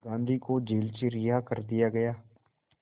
गांधी को जेल से रिहा कर दिया गया